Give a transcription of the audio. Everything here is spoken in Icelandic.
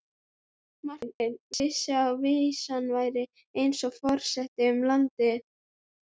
Marteinn vissi að vísan færi eins og farsótt um landið.